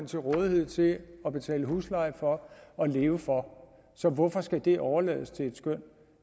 til rådighed til at betale husleje for og leve for så hvorfor skal det overlades til et skøn